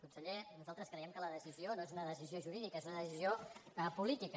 conseller nosaltres creiem que la decisió no és una decisió jurídica és una decisió política